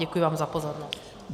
Děkuji vám za pozornost.